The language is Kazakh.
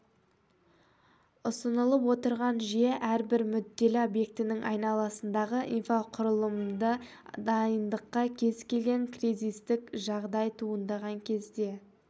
ұсынылып отырған жүйе әрбір мүдделі объектінің айналасындағы инфрақұрылымды дайындыққа кез келген кризистік жағдай туындаған кезде